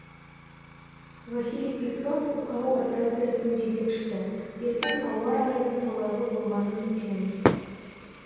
василий пивцов құтқару операциясының жетекшісі ертең ауа райының қолайлы болғанын күтеміз